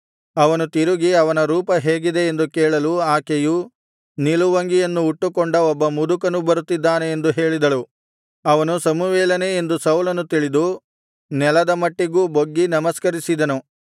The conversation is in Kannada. ಅವನು ತಿರುಗಿ ಅವನ ರೂಪ ಹೇಗಿದೆ ಎಂದು ಕೇಳಲು ಆಕೆಯು ನಿಲುವಂಗಿಯನ್ನು ಉಟ್ಟುಕೊಂಡ ಒಬ್ಬ ಮುದುಕನು ಬರುತ್ತಿದ್ದಾನೆ ಎಂದು ಹೇಳಿದಳು ಅವನು ಸಮುವೇಲನೆ ಎಂದು ಸೌಲನು ತಿಳಿದು ನೆಲದ ಮಟ್ಟಿಗೂ ಬೊಗ್ಗಿ ನಮಸ್ಕರಿಸಿದನು